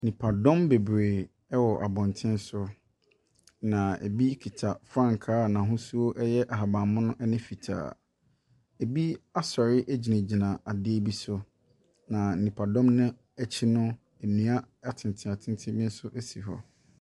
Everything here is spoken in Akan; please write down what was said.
Nnipa bebree wɔ abɔnten so, na bi kita frankaa a n’ahosuo yɛ ahabanmono ne fitaa. Bi asɔre gyinagyina adeɛ bi so. Na nnipadɔm no akyi no, nnua atenten bi nso si hɔ.